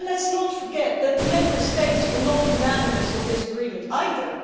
Let us not forget that the Member States were not unanimous on this agreement either.